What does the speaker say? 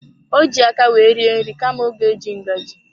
Ọ ji aka wee rie nri kama ọ ga eji ngaji.